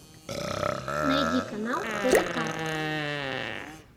найди канал тдк